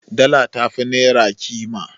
Dala tafi Naira Ƙima